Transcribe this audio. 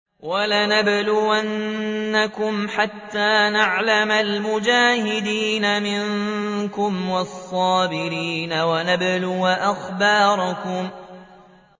وَلَنَبْلُوَنَّكُمْ حَتَّىٰ نَعْلَمَ الْمُجَاهِدِينَ مِنكُمْ وَالصَّابِرِينَ وَنَبْلُوَ أَخْبَارَكُمْ